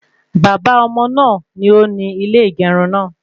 Baba ọmọ náà ni ó ní ilé ìgerun naa